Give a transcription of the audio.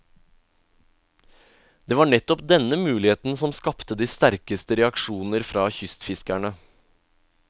Det var nettopp denne muligheten som skapte de sterkeste reaksjoner fra kystfiskerne.